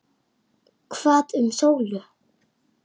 En hvað um Sólu.